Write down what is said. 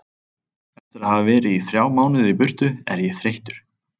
Eftir að hafa verið í þrjá mánuði í burtu er ég þreyttur.